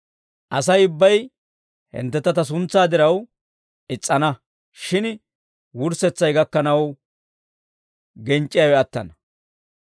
Asay ubbay hinttentta ta suntsaa diraw is's'ana; shin wurssetsay gakkanaw genc'c'iyaawe attana.